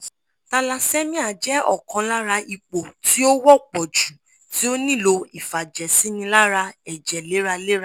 thallassemia jẹ́ ọ̀kan lára ipò tí ó wọ́pọ̀ jù tí ó nílò ìfàjẹ̀sínilára ẹ̀jẹ̀ léraléra